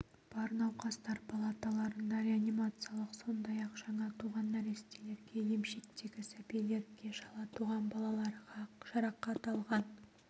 бар науқастар палаталарында реанимациялық сондай-ақ жаңа туған нәрестелерге емшектегі сәбилерге шала туған балаларға жарақат алған